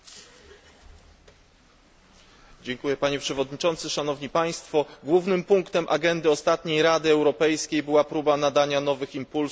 Głównym punktem agendy ostatniej Rady Europejskiej była próba nadania nowych impulsów stosunkom zewnętrznym Unii w oparciu o traktat lizboński.